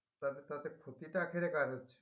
তাতে তাতে ক্ষতিটা কার হচ্ছে?